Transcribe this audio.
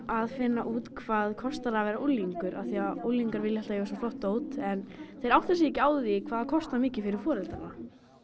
að finna út hvað kostar að vera unglingur af því að unglingar vilja alltaf eiga svo flott dót en þeir átta sig ekki á því hvað það kostar mikið fyrir foreldrana